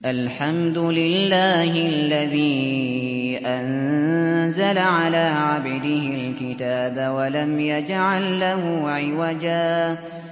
الْحَمْدُ لِلَّهِ الَّذِي أَنزَلَ عَلَىٰ عَبْدِهِ الْكِتَابَ وَلَمْ يَجْعَل لَّهُ عِوَجًا ۜ